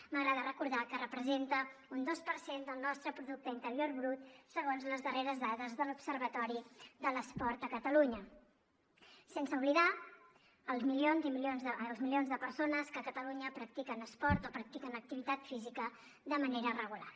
m’agrada recordar que representa un dos per cent del nostre producte interior brut segons les darreres dades de l’observatori de l’esport a catalunya sense oblidar els milions i milions de persones que a catalunya practiquen esport o practiquen activitat física de manera regular